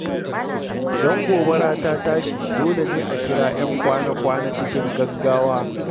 Idan gobara ta tashi, dole ne a kira ‘yan kwana-kwana cikin gaggawa.